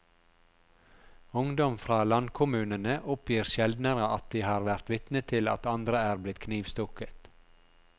Ungdom fra landkommunene oppgir sjeldnere at de har vært vitne til at andre er blitt knivstukket.